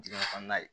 Dingɛ kɔnɔna ye